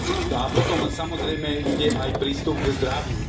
No a potom samozrejme ide aj prístup k zdraviu.